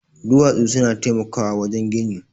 Duwatsu suna taimakawa wajen gini